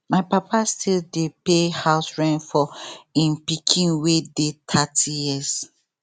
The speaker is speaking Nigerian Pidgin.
my papa still dey pay house rent for im pikin wey dey thirty years